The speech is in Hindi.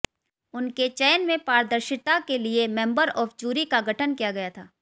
उनके चयन में पारदर्शिता के लिए मेंबर ऑफ जूरी का गठन किया गया था